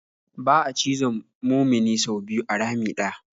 Ba'a cizon mumini sau biyu a rami ɗaya.